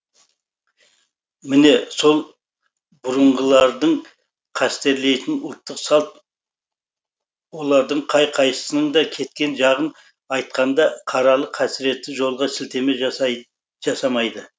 міне сол бұрынғылардың қастерлейтін ұлттық салт олардың қай қайсысының да кеткен жағын айтқанда қаралы қасіретті жолға сілтеме жасамайды